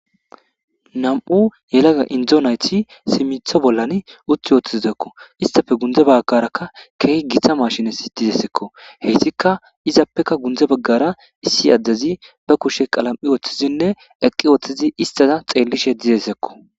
Nam''u yelagga injjo naytti simitilo bollan utti uttidosonnakko. hessappe gunde bagarakka keehi Gita machine dizayssakko.heyssikka izappekka gunde baggara issi adezi ba kuushshe qalam'i woththizinne eqqi uththizi isttaza xeelishe dizayssakko.